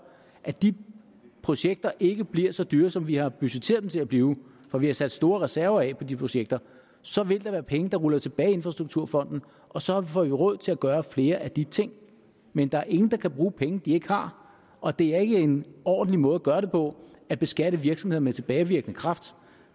at de projekter ikke bliver så dyre som vi har budgetteret dem til at blive for vi har sat store reserver af på de projekter så vil der være penge der ruller tilbage i infrastrukturfonden og så får vi råd til at gøre flere af de ting men der er ingen der kan bruge penge de ikke har og det er ikke en ordentlig måde at gøre det på at beskatte virksomhederne med tilbagevirkende kraft